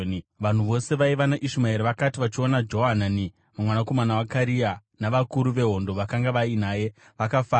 Vanhu vose vaiva naIshumaeri vakati vachiona Johanani mwanakomana waKarea navakuru vehondo vakanga vainaye, vakafara.